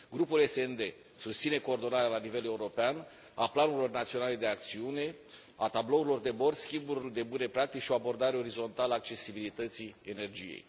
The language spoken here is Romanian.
Grupul SD susține coordonarea la nivel european a planurilor naționale de acțiune, a tablourilor de bord, schimburilor de bune practici și o abordare orizontală a accesibilității energiei.